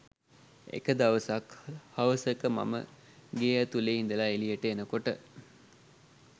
එක දවසක්‌ හවසක මම ගේ ඇතුළෙ ඉඳල එළියට එනකොට